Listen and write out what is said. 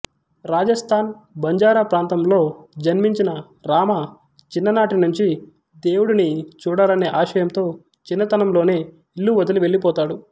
రాజస్థాన్ బంజారా ప్రాంతంలో జన్మించిన రామ చిన్ననాటి నుంచి దేవుడిని చూడాలనే ఆశయంతో చిన్నతనంలోనే ఇల్లు వదిలి వెళ్ళిపోతాడు